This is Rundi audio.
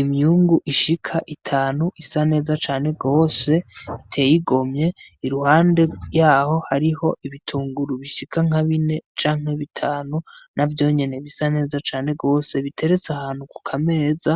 Imyungu ishika itanu isa neza cane gose, iteye igomye. Iruhande ryaho hariho ibitunguru bishika nka bine canke bitanu, navyo nyene bisa neza cane gose, biteretse ahantu ku kameza.